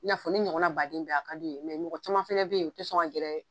I n'a fɔ ne ɲɔgɔn na baden be yen a ka di u ye. mɔgɔ caman fɛnɛ be yen u tɛ sɔn ka gɛrɛ